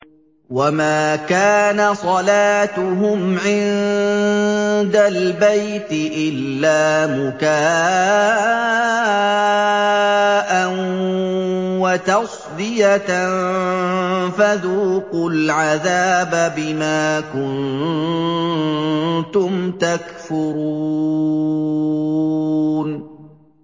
وَمَا كَانَ صَلَاتُهُمْ عِندَ الْبَيْتِ إِلَّا مُكَاءً وَتَصْدِيَةً ۚ فَذُوقُوا الْعَذَابَ بِمَا كُنتُمْ تَكْفُرُونَ